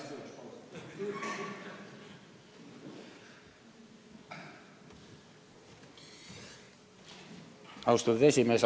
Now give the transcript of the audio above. Austatud esimees!